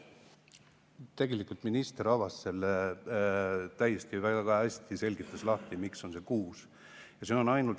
Tegelikult minister avas selle täiesti, väga hästi selgitas, miks on see kuus.